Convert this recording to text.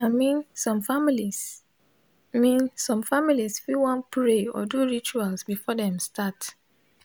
i min som familiz min som familiz fit wan pray or do rituals before dem start